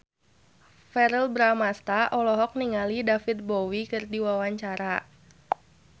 Verrell Bramastra olohok ningali David Bowie keur diwawancara